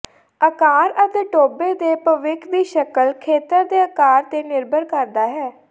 ਆਕਾਰ ਅਤੇ ਟੋਭੇ ਦੇ ਭਵਿੱਖ ਦੀ ਸ਼ਕਲ ਖੇਤਰ ਦੇ ਅਕਾਰ ਤੇ ਨਿਰਭਰ ਕਰਦਾ ਹੈ